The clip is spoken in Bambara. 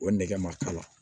O nɛgɛ ma k'a la